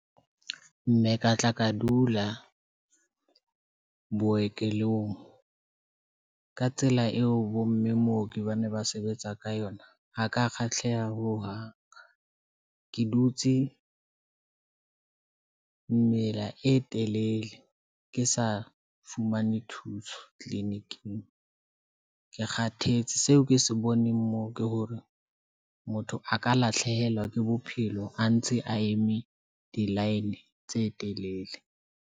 Mme ka tla ka dula boekelong ka tsela eo, bomme mooki ba ne ba sebetsa ka yona. Ho ka kgahleha ho hang, ke dutse mela e telele ke sa fumane thuso Clinic-ing. Ke kgathetse seo ke se boneng moo ke hore motho a ka lahlehelwa ke bophelo, a ntse a eme di-line tse telele.